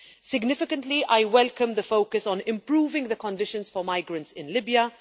Significantly, I welcome the focus on improving the conditions for migrants in Libya.